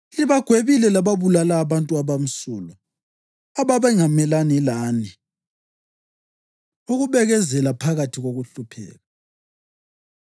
Libagwebile lababulala abantu abamsulwa, ababengamelani lani. Ukubekezela Phakathi Kokuhlupheka